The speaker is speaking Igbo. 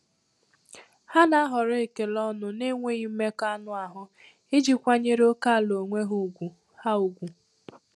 Ha na-ahọrọ ekele ọnụ na-enweghị mmekọ anụ ahụ iji kwanyere ókèala onwe ha ùgwù. ha ùgwù.